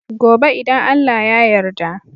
Gobe idan Allah ya yarda